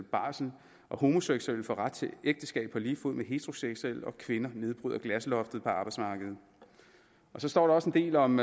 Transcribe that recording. barsel at homoseksuelle får ret til ægteskab på lige fod med heteroseksuelle og at kvinder nedbryder glasloftet på arbejdsmarkedet så står der også en del om